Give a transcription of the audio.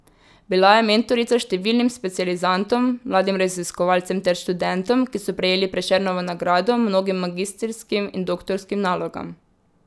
Bila je mentorica številnim specializantom, mladim raziskovalcem ter študentom, ki so prejeli Prešernovo nagrado, mnogim magistrskim in doktorskim nalogam.